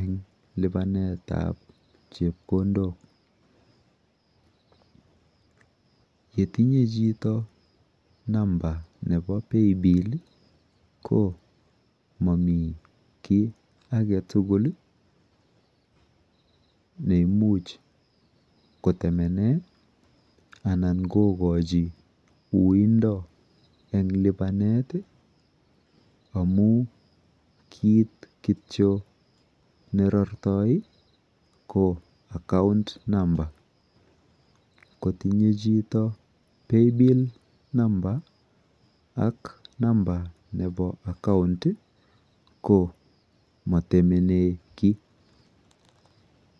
eng lipanetap chepkondok. Yetinye chito namba nepo paybill ko mami kiy aketugul neimuch kotemene anan kokochi uindo eng lipanet amu kit kityo nerortoi ko account number. Kotinye chito paybill number ak namba nepo account ko matemene kiy.